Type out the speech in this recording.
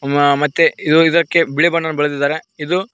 ಮಾ ಮತ್ತೆ ಇದು ಇದಕ್ಕೆ ಬಿಳಿ ಬಣ್ಣನ ಬಳದಿದ್ದಾರೆ ಇದು--